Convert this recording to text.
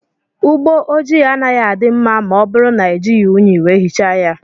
Ụgbọ ojii anaghị adị mma ma ọ bụrụ na ejighi ụnyi wee hichaa ya.